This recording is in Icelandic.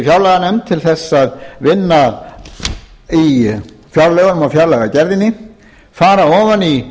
fjárlaganefnd til þess að vinna í fjárlögunum og fjárlagagerðinni fara ofan í